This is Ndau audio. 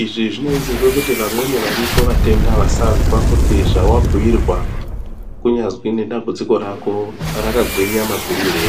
izvi zvinosisirwa kuti vamweni varipo matenda vasazwa kuti zvawabhuirwa kunyazi nedambudziko rako rakakura makurirei.